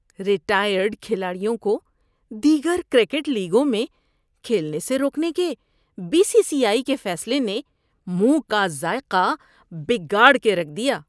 Retired کھلاڑیوں کو دیگر کرکٹ لیگوں میں کھیلنے سے روکنے کے بی سی سی آئی کے فیصلے نے منہ کا ذائقہ بگاڑ کے رکھ دیا۔